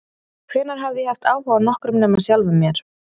Hvenær hafði ég haft áhuga á nokkrum nema sjálfum mér?